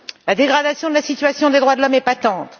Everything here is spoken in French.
La dégradation de la situation des droits de l'homme est patente.